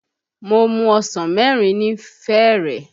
Mo mu ọsàn mẹ́rin ni fẹ̀rẹ̀